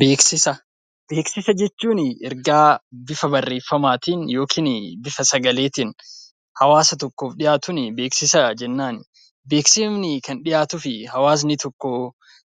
Beeksisa jechuun ergaa bifa barreeffamaatiin yookaan bifa sagaleetiin hawaasa tokkoof dhiyaatuun beeksisa jennaan. Beeksisi kan dhiyaatuuf hawaasni tokko